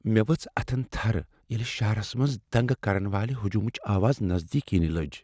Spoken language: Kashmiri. مےٚ ؤژھ اتھن تھر ییٚلہ شہرس منٛز دنگہٕ کرن والِہ ہجومٕچ آواز نزدیک ینہ لج ۔